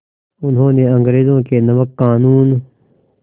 उन्होंने अंग्रेज़ों के नमक क़ानून